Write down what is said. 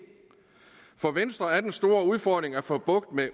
for venstre er den store udfordring at få bugt